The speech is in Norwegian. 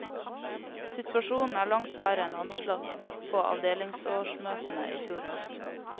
Situasjonen er langt verre enn anslått på avdelingsårsmøtene i fjor høst.